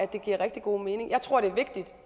det giver rigtig god mening jeg tror det er vigtigt